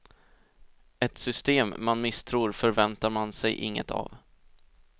Ett system man misstror förväntar man sig inget av.